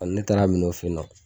Ɔ ne taara minɛ u fe yen nɔ